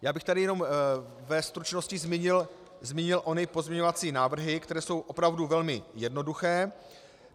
Já bych tady jenom ve stručnosti zmínil ony pozměňovací návrhy, které jsou opravdu velmi jednoduché.